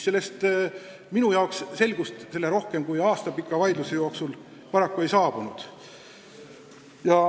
Minu jaoks selgust selles asjas rohkem kui aasta kestnud vaidluse jooksul paraku ei saabunud.